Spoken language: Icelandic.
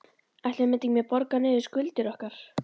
Ætli við myndum ekki borga niður skuldir okkar?